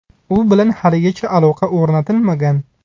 U bilan haligacha aloqa o‘rnatilmagan.